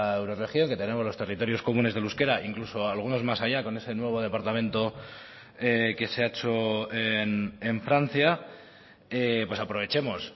eurorregión que tenemos los territorios comunes del euskera incluso algunos más allá con ese nuevo departamento que se ha hecho en francia aprovechemos